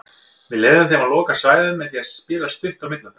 Við leyfðum þeim að loka svæðum með því að spila stutt á milli okkar.